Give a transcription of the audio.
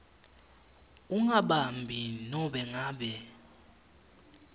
ungabambi nobe ngabe